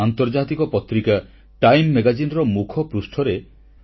ଏକତାର ଏହି ଦୌଡ଼ ରନ୍ ଫୋର ୟୁନିଟି ରେ ବହୁସଂଖ୍ୟାରେ ଯୋଗଦେବା ପାଇଁ ମୁଁ ଆପଣ ସମସ୍ତଙ୍କୁ ଅନୁରୋଧ କରୁଛି